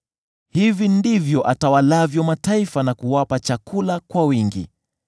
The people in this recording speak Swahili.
Hivi ndivyo atawalavyo mataifa, na kuwapa chakula kwa wingi.